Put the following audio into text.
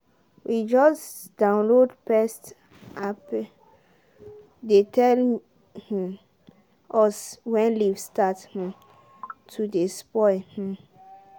we just download pest appe dey tell um us when leaves start um to dey spoil um